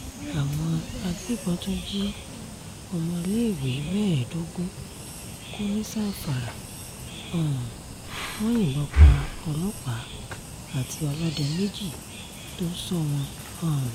àwọn agbébọn tún jí ọmọléèwé mẹ́ẹ̀ẹ́dógún kó ní zamfara um wọn yìnbọn pa ọlọ́pàá àti ọlọ́dẹ méjì tó ń sọ wọ́n um